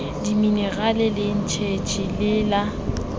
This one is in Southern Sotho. diminerale le eneji le la